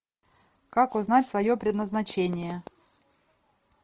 как узнать свое предназначение